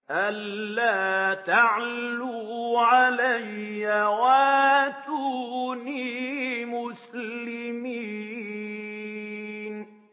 أَلَّا تَعْلُوا عَلَيَّ وَأْتُونِي مُسْلِمِينَ